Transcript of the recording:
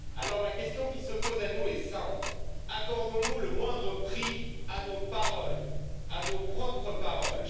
Alors la question qui se pose à nous est simple accordons nous le moindre prix à nos paroles, à nos propres paroles?